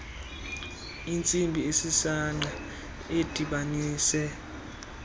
intsimbi esisangqa edibanise